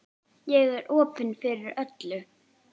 Ég er opin fyrir öllu.